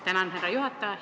Tänan, härra juhataja!